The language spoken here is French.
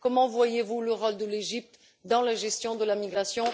Comment voyez vous le rôle de l'Égypte dans la gestion de la migration?